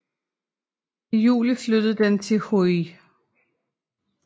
I juli flyttede den til Huj